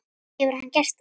Hefur hann gert það?